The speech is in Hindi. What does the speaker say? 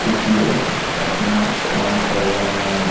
कुछ लोग अपना काम कर रहें हैं।